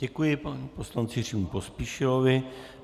Děkuji panu poslanci Jiřímu Pospíšilovi.